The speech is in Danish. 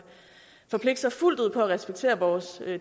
forpligte sig fuldt ud på at respektere vores